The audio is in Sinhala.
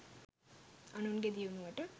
අනුන්ගේ දියුණුවට